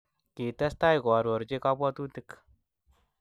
Kitestai koarorchi kabwatutik